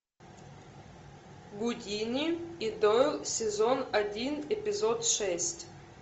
гудини и дойл сезон один эпизод шесть